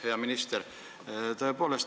Hea minister!